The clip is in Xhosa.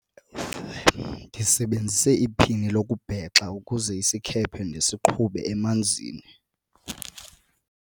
ndisebenzise iphini lokubhexa ukuze isikhephe ndisiqhube emanzini